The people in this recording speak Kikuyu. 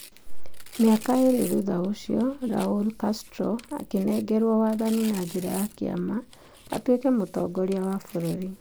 Mĩaka ĩĩrĩ thutha ũcio, Raul Castro akĩnengerwo waathani na njĩra ya kĩama atuĩkĩ mũtongoria wa bũrũri.